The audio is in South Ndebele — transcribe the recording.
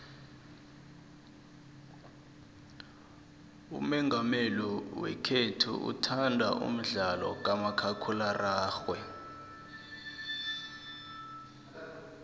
umongameli wekhethu uthanda umdlalo kamakhakhulararhwe